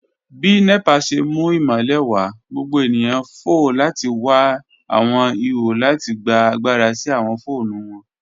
Bi NEPA ṣe mu imọlẹ wa, gbogbo eniyan fo lati wa awọn iho lati gba agbara si awọn foonu wọn.